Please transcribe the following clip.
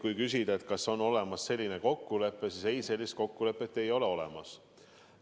Kui küsida, kas on olemas selline kokkulepe, siis ei, sellist kokkulepet ei ole olemas.